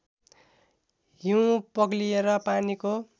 हिउँ पग्लिएर पानीको